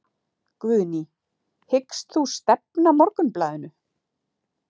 Guðný: Hyggst þú stefna Morgunblaðinu?